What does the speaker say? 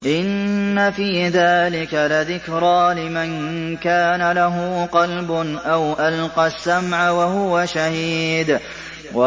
إِنَّ فِي ذَٰلِكَ لَذِكْرَىٰ لِمَن كَانَ لَهُ قَلْبٌ أَوْ أَلْقَى السَّمْعَ وَهُوَ شَهِيدٌ